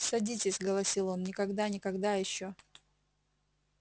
садитесь голосил он никогда никогда ещё